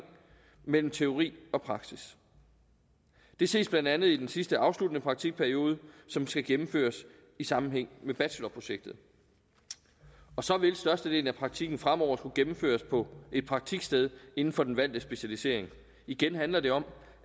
mellem teori og praksis det ses blandt andet i den sidste afsluttende praktikperiode som skal gennemføres i sammenhæng med bachelorprojektet så vil størstedelen af praktikken fremover også skulle gennemføres på et praktiksted inden for den valgte specialisering igen handler det om